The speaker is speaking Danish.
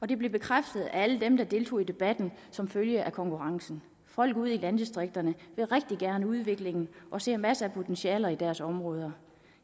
det blev bekræftet af alle dem der deltog i debatten som følge af konkurrencen folk ude i landdistrikterne vil rigtig gerne udviklingen og ser masser af potentiale i deres områder